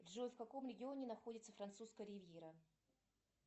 джой в каком регионе находится французская ривьера